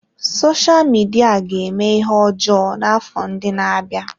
Sosha Midia ga-eme ihe ọjọọ n'afọ ndị na-abịa.